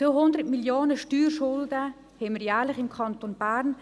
200 Mio. Franken Steuerschulden haben wir jährlich im Kanton Bern.